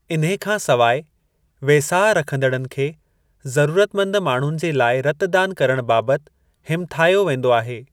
इन्हे खां सवाइ वेसाह रखंदड़नि खे जरूरतमंद माण्हुनि जे लाइ रतदान करण बाबत हिमथायो वेंदो आहे।